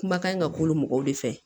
Kumakan in ka k'olu mɔgɔw de fɛ